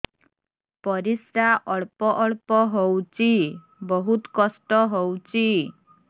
ପରିଶ୍ରା ଅଳ୍ପ ଅଳ୍ପ ହଉଚି ବହୁତ କଷ୍ଟ ହଉଚି